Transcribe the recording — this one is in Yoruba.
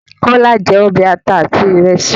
Kọ́lá jẹ́ ọbẹ̀ àta àti ìrèsì